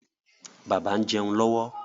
Bàbá ń jẹun lọ́wọ́.